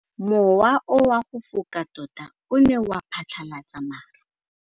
Mowa o wa go foka tota o ne wa phatlalatsa maru.